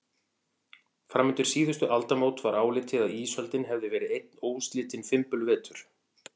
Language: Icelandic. Fram undir síðustu aldamót var álitið að ísöldin hefði verið einn óslitinn fimbulvetur.